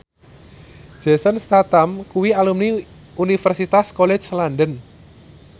Jason Statham kuwi alumni Universitas College London